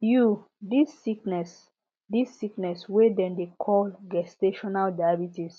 you this sickness this sickness wey dem dey call gestational diabetes